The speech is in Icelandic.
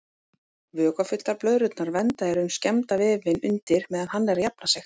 Vökvafylltar blöðrurnar vernda í raun skemmda vefinn undir meðan hann er að jafna sig.